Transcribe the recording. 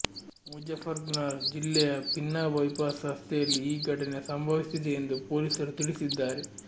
ಮುಜಫರ್ನಗರ್ ಜಿಲ್ಲೆಯ ಪಿನ್ನಾ ಬೈಪಾಸ್ ರಸ್ತೆಯಲ್ಲಿ ಈ ಘಟನೆ ಸಂಭವಿಸಿದೆ ಎಂದು ಪೊಲೀಸರು ತಿಳಿಸಿದ್ದಾರೆ